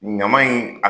Ɲama in